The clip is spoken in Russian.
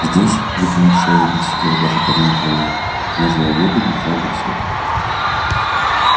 здесь вытянув шею и не в силах даже поднять головы между оглобель лежал боксёр